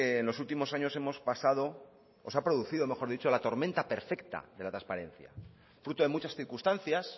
en los últimos años hemos pasado o se ha producido mejor dicho la tormenta perfecta de la transparencia fruto de muchas circunstancias